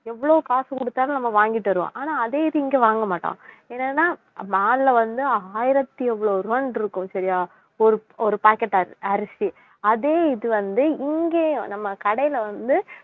எவ்வளவு காசு கொடுத்தாலும் நம்ம வாங்கிட்டுவருவோம் ஆனா அதே இது இங்கே வாங்கமாட்டோம் என்னன்னா maal ல வந்து ஆயிரத்தி இவ்ளோ ரூபான்னு இருக்கும் சரியா ஒரு ஒரு packet அரிசி அதே இது வந்து இங்கேயும் நம்ம கடையிலே வந்து